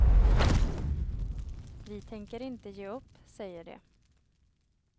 Vi tänker inte ge upp, säger de.